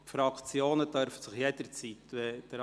Die Fraktionen dürfen jederzeit sprechen.